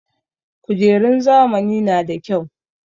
Kujerun zamani na da kyau.